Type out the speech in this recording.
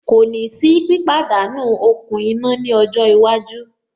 Kò ní sí pípàdánú okùn iná ní ọjọ́ iwájú.